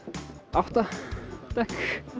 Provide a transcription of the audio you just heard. átta dekk